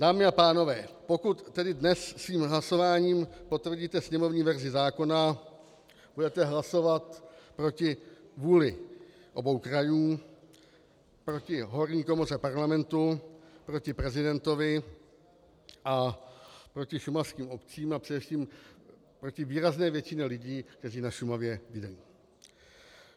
Dámy a pánové, pokud tedy dnes svým hlasováním potvrdíte sněmovní verzi zákona, budete hlasovat proti vůli obou krajů, proti horní komoře Parlamentu, proti prezidentovi a proti šumavským obcím a především proti výrazné většině lidí, kteří na Šumavě bydlí.